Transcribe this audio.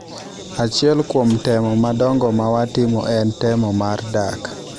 Achiel kuom temo madongo ma watimo en temo mar dak.